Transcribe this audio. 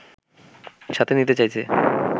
সাথে নিতে চাইছে